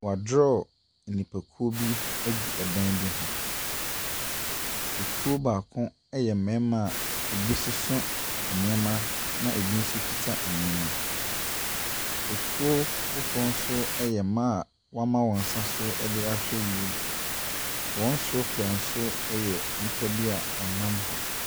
Wɔadorɔɔ nnipakuo bi agu dan bi ho. Ekuo baako yɛ mmarima a ebi soso nneɛma na ebi nso kita nneɛma. Ekuo foforɔ nso yɛ mmaa a wɔama wɔn nsa so de ahwɛ wiem. Wɔn soro pɛɛ nso yɛ nnipa bi a wɔnam hɔ.